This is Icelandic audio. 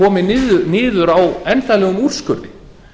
komið niður á endanlegum úrskurði